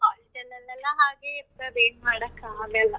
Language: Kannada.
College ಆಲ್ಲಿಯೆಲ್ಲ ಹಾಗೆ ಇರ್ತದೆ ಏನ್ ಮಾಡಕ್ ಆಗಲ್ಲ.